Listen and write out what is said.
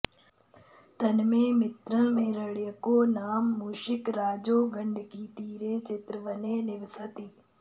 तन्मे मित्रं हिरण्यको नाम मूषिकराजो गण्डकीतीरे चित्रवने निवसति